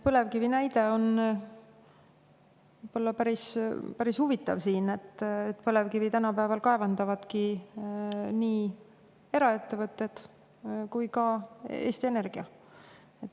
Põlevkivi näide on võib-olla päris huvitav siin, põlevkivi tänapäeval kaevandavadki nii eraettevõtted kui ka Eesti Energia.